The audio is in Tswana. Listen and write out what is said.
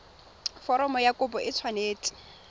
foromo ya kopo e tshwanetse